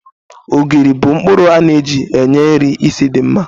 Ogiri bu nkpuru a na-eji enye nri ísì di mma